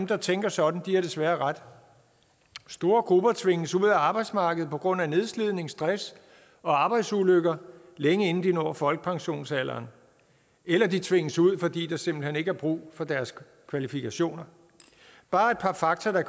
der tænker sådan har desværre ret store grupper tvinges ud af arbejdsmarkedet på grund af nedslidning stress og arbejdsulykker længe inden de når folkepensionsalderen eller de tvinges ud fordi der simpelt hen ikke er brug for deres kvalifikationer bare et par fakta der